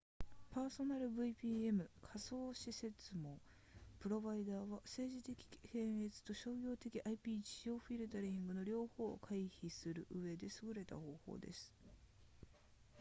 パーソナル vpn 仮想私設網プロバイダーは政治的検閲と商業的 ip ジオフィルタリングの両方を回避するうえで優れた方法です